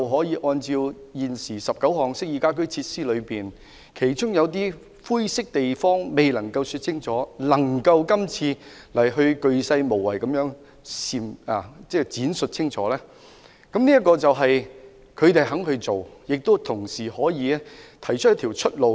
有關19項適意家居設施，有些灰色地方未能說清楚，但是施政報告就光伏系統鉅細無遺地闡述清楚，說明政府肯去做，同時亦可以提供一條出路。